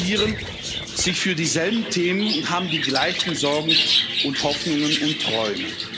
Sie interessieren sich für dieselben Themen und haben die gleichen Sorgen und Hoffnungen und Träume.